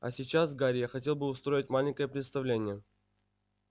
а сейчас гарри я хотел бы устроить маленькое представление